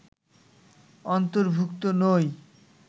অন্তর্ভুক্ত নই